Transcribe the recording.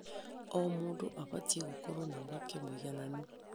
O mũndũ abatiĩ gũkorwo na mweke mũigananu.